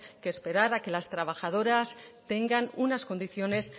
que esperar a que las trabajadoras tengan unas condiciones